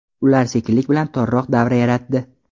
Ular sekinlik bilan torroq davra yaratdi.